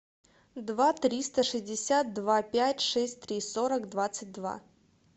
два триста шестьдесят два пять шесть три сорок двадцать два